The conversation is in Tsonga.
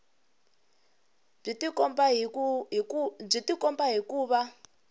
byi tikomba hi ku va